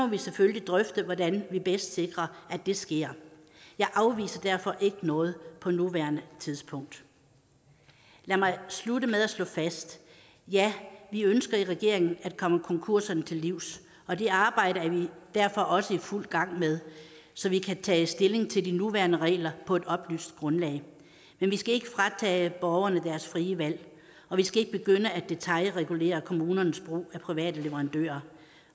vi selvfølgelig drøfte hvordan vi bedst sikrer det sker jeg afviser derfor ikke noget på nuværende tidspunkt lad mig slutte med at slå noget fast ja vi ønsker i regeringen at komme konkurserne til livs og det arbejde er vi derfor også i fuld gang med så vi kan tage stilling til de nuværende regler på et oplyst grundlag men vi skal ikke fratage borgerne deres frie valg og vi skal ikke begynde at detailregulere kommunernes brug af private leverandører